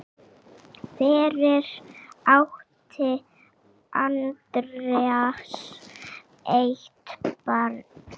Fyrir átti Andreas eitt barn.